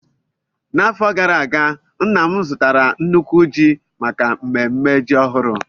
N'afọ gara aga, nna m zụtara nnukwu ji maka mmemme ji ọhụrụ.